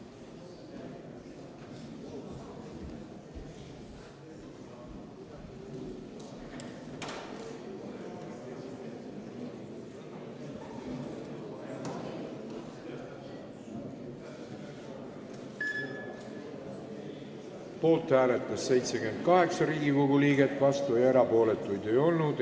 Hääletustulemused Poolt hääletas 78 Riigikogu liiget, vastuolijaid ega erapooletuid ei olnud.